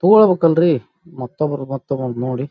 ತೊಗೊಳ್ಬೇಕು ಅಂದ್ರಿ ಮತ್ತೊಬ್ರ ಮತ್ತ ಬಂತು ನೋಡಿ--